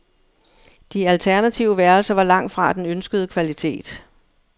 De alternative værelser var langt fra den ønskede kvalitet.